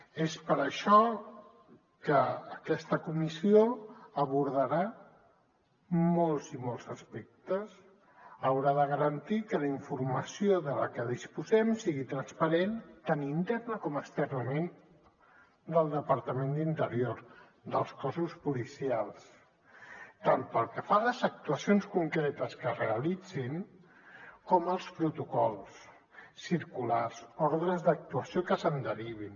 és per això que aquesta comissió abordarà molts i molts aspectes haurà de garantir que la informació de la que disposem sigui transparent tant internament com externament del departament d’interior dels cossos policials tant pel que fa a les actuacions concretes que es realitzin com pels protocols circulars ordres d’actuació que se’n derivin